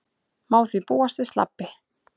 Má því búast við slabbi